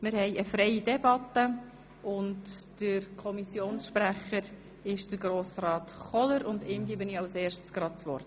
Wir führen eine freie Debatte und nun übergebe ich dem Kommissionspräsidenten das Wort.